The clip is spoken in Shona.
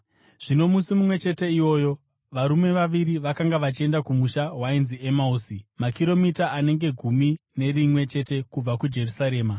Zvino musi mumwe chete iwoyo, varume vaviri vakanga vachienda kumusha wainzi Emausi, makiromita anenge gumi nerimwe chete kubva kuJerusarema.